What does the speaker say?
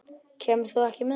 Kemur þú ekki með okkur?